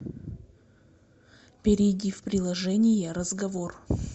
перейди в приложение разговор